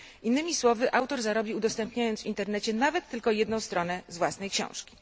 Innymi słowy, autor zarobi, udostępniając w Internecie nawet tylko jedną stronę z własnej książki.